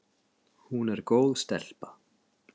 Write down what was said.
Hún er góð stelpa.